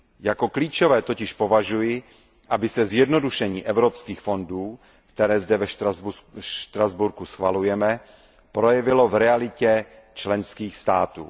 Za klíčové totiž považuji, aby se zjednodušení evropských fondů, které zde ve Štrasburku schvalujeme, projevilo v realitě členských států.